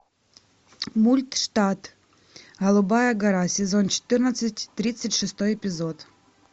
мульт штат голубая гора сезон четырнадцать тридцать шестой эпизод